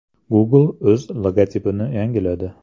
Google o‘z logotipini yangiladi.